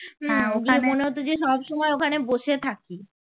মনে হত যে সব সময় ওখানে বসে থাকি